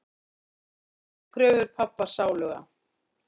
Ekki uppfyllt kröfur pabba sáluga.